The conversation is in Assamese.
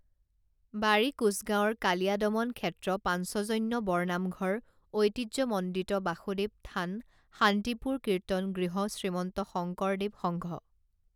বাৰী কোঁছগাঁৱৰ কালীয়াদমন ক্ষেত্ৰপাঞ্চজন্য বৰনামঘৰ ঐতিহ্যমণ্ডিত বাসুদেৱ থানশান্তিপুৰ কীৰ্তন গৃহশ্ৰীমন্ত শংকৰ দেৱ সংঘ